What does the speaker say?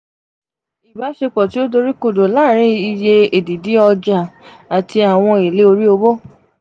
ibasepo ti o dorikodo láarin iye edidi oja ati awọn ele ori owo